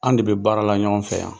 An de be baara la ɲɔgɔn fɛ yan.